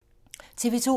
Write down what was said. TV 2